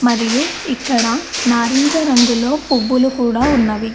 మరియు ఇక్కడ నారింజ రంగులో పువ్వులు కూడా ఉన్నవి.